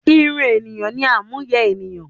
Irun ènìyàn ni àmúyẹ énìyàn